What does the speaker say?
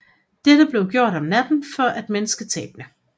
Dette blev gjort om natten for at mindske tabene